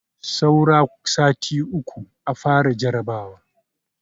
Saura sati uku a fara jarabawa.